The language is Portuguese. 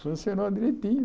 Funcionou direitinho.